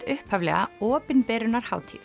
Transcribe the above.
upphaflega